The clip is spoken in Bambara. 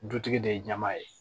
Dutigi de ye ɲama ye